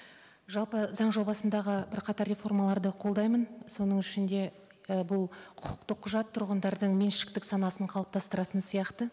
жалпы заң жобасындағы бірқатар реформаларды колдаймын соның ішінде і бұл құқықты құжат тұрғындардың меншіктік санасын қалыптастыратын сияқты